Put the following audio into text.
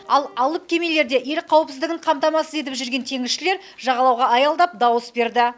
ал алып кемелерде ел қауіпсіздігін қамтамасыз етіп жүрген теңізшілер жағалауға аялдап дауыс берді